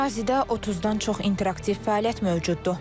Ərazidə 30-dan çox interaktiv fəaliyyət mövcuddur.